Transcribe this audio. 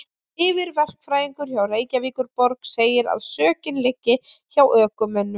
Yfirverkfræðingur hjá Reykjavíkurborg segir að sökin liggi hjá ökumönnum.